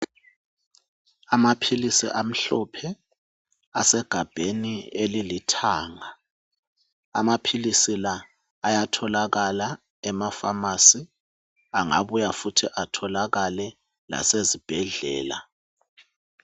Amaphilisi amhlophe asegabheni elilithanga amaphilisi la ayatholakala emafamasi angabuya futhi atholakale lasezibhedlela.